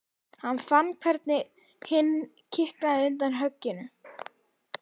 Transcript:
Hann fann hvernig hinn kiknaði undan högginu.